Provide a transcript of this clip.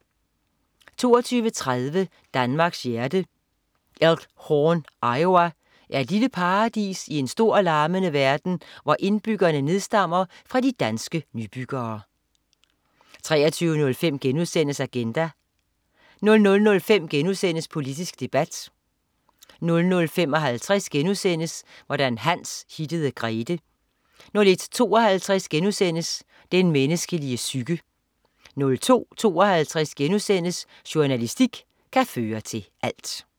22.30 Danmarks hjerte. Elk Horn, Iowa, er et lille paradis i en stor og larmende verden hvor indbyggerne nedstammer fra de danske nybyggere 23.05 Agenda* 00.05 Politisk debat* 00.55 Hvordan Hans hittede Grethe* 01.52 Den menneskelige psyke* 02.52 Journalistik kan føre til alt*